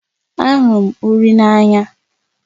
Ahụrụ m uri n'anya